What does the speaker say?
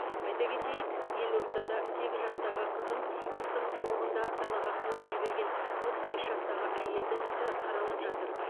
айта кетейік елордада сегіз жастағы қызын қыстың суығында далаға қуып жіберген отыз бес жастағы әйелдің ісі қаралып жатыр